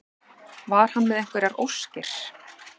Var hann með einhverjar óskir?